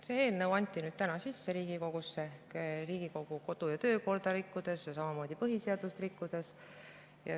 See eelnõu anti täna sisse Riigikogusse Riigikogu kodu- ja töökorda rikkudes ja samamoodi põhiseadust rikkudes.